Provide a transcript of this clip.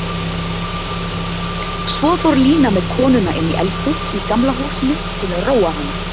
Svo fór Lína með konuna inní eldhús í Gamla húsinu til að róa hana.